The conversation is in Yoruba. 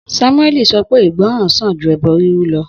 Samuẹli sọ pé ìgbọràn sàn ju ẹbọ riru lọ